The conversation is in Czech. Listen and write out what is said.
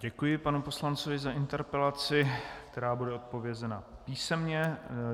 Děkuji panu poslanci za interpelaci, která bude odpovězena písemně.